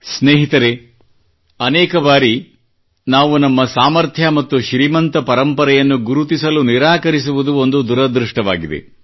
ಸ್ನೇಹಿತರೇ ಅನೇಕ ಬಾರಿ ನಾವು ನಮ್ಮ ಸಾಮರ್ಥ್ಯ ಮತ್ತು ಶ್ರೀಮಂತ ಪರಂಪರೆಯನ್ನು ಗುರುತಿಸಲು ನಿರಾಕರಿಸುವುದು ಒಂದು ದುರದೃಷ್ಟವಾಗಿದೆ